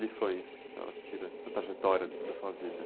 Lições que a senhora tira da trajetória da sua vida.